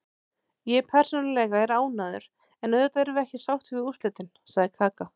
Ég persónulega er ánægður, en auðvitað erum við ekki sáttir við úrslitin, sagði Kaka.